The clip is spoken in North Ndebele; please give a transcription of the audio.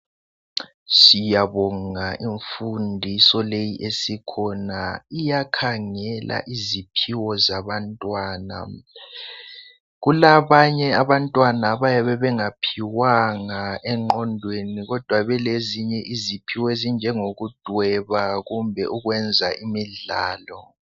Siyabonga imfundiso leyi esikhona iyakhangela iziphiwo zabantwana. Kulabanye abantwana abayabe bengaphiwanga engqondweni kodwa beleziphiwo ezinjengokudweba kumbe ukwenza imidlalo.